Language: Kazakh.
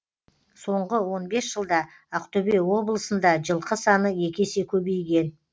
соңғы он бес жылда ақтөбе облысында жылқы саны екі есе көбейген